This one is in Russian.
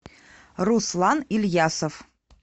руслан ильясов